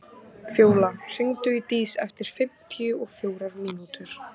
Fjóla, hringdu í Dís eftir fimmtíu og fjórar mínútur.